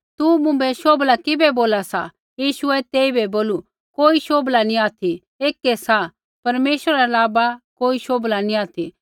तू मुँभै शोभला किबै बोला सा यीशुऐ तेइबै बोलू कोई शोभला नैंई ऑथि ऐकै सा परमेश्वरा रै अलावा कोई शोभला नी ऑथि